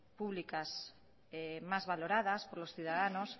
públicas más valoradas por los ciudadanos